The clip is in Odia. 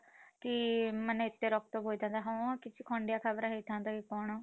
କି ମାନେ ଏତେ ରକ୍ତ ବୋହିଥାନ୍ତା ହଁ ଖଣ୍ଡିଆ ଖାବରା ହେଇଥାନ୍ତା କି କଣ।